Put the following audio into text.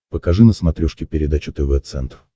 покажи на смотрешке передачу тв центр